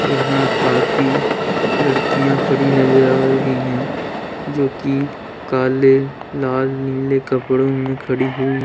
यहां काफी लड़कियां खड़ी नजर आ रही है जो कि काले लाल नीले कपड़ों में खड़ी हुई--